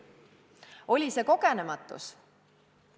Oli see kogenematus?